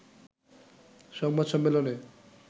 সংবাদ সম্মেলনে